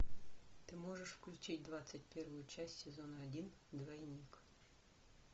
ты можешь включить двадцать первую часть сезона один двойник